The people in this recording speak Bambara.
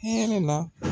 Hɛrɛ la